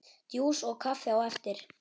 Djús og kaffi á eftir.